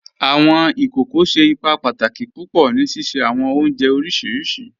Awọn ikókò ṣẹ́ ìpà pàtàkì púpọ̀ ní síṣẹ̀ awọn ọ̀njẹ̀ oríṣiríṣì